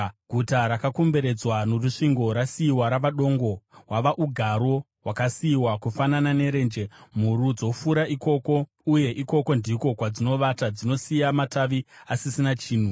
Guta rakakomberedzwa norusvingo rasiyiwa rava dongo, hwava ugaro hwakasiyiwa, kufanana nerenje; mhuru dzofura ikoko, uye ikoko ndiko kwadzinovata; dzinosiya matavi asisina chinhu.